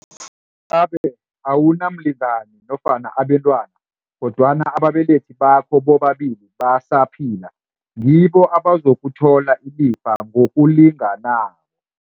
gabe awunamlingani nofana abentwana, kodwana ababelethi bakho bobabili basaphila, ngibo abazokuthola ilifa ngokulinganako.